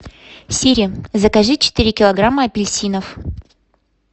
сири закажи четыре килограмма апельсинов